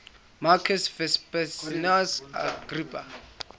marcus vipsanius agrippa